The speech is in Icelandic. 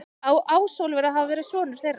Á Ásólfur að hafa verið sonur þeirra.